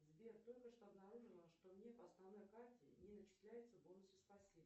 сбер только что обнаружила что мне по основной карте не начисляются бонусы спасибо